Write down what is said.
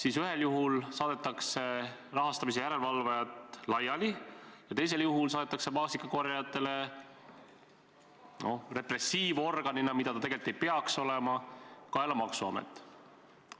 Esimesel juhul saadetakse rahastamise järelevalvajad laiali, teisel juhul saadetakse maasikakorjajatele repressiivorganina, mida ta tegelikult ei peaks olema, kaela maksuamet.